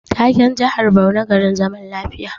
Taken jihar Borno garin zaman lafiya